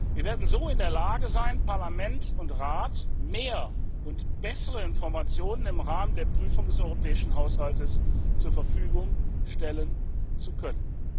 Wir werden so in der Lage sein, Parlament und Rat mehr und bessere Informationen im Rahmen der Prüfung des europäischen Haushaltes zur Verfügung stellen zu können.